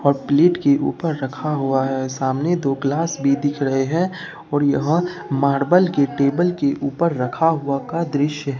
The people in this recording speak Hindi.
और प्लेट के ऊपर रखा हुआ है सामने दो ग्लास भी दिख रहे हैं और यहां मार्बल की टेबल के ऊपर रखा हुआ का दृश्य है।